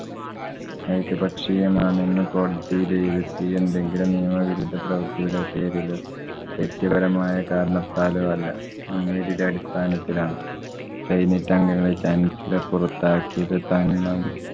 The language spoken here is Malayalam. ഏകപക്ഷീയമാണെന്ന കോടതി എന്തെങ്കിലും നിയമ വിരുദ്ധ പ്രവര്‍ത്തിയുടെ പേരിലോ വ്യക്തിപരമായ കാരണത്താലോ അല്ല. മുന്‍വിധിയുടെ അടിസ്ഥാനത്തിലാണ്. senate അംഗങ്ങളെ chancellor പുറത്താകിയത് തന്നും.